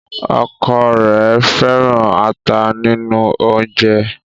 ọkọ rẹ fẹràn ata nínú oúnjẹ.